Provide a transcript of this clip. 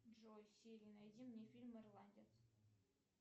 джой сири найди мне фильм ирландец